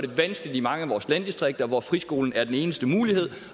vanskeligere i mange af vores landdistrikter hvor friskolen er den eneste mulighed